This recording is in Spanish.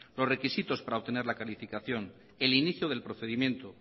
los requisitos para obtener la calificación el inicio del procedimiento